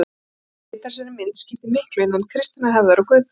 Að breyta þessari mynd skiptir miklu innan kristinnar hefðar og guðfræði.